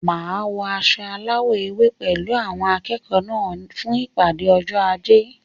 Máa wọ aṣọ alawọ ewé pẹlu awọn akẹẹkọ náà fún ìpàdé ọjọ ajé